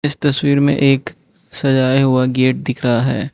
इस तस्वीर में एक सजाया हुआ गेट दिख रहा है।